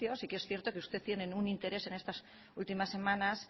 sí que es cierto que ustedes tienen un interés en estas últimas semanas